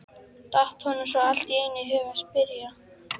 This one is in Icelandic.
datt honum svo allt í einu í hug að spyrja.